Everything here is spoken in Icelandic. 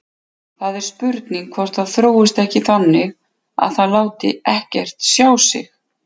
Það er spurning hvort það þróist ekki þannig að það láti ekkert sjá sig.